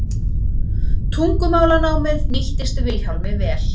Tungumálanámið nýttist Vilhjálmi vel.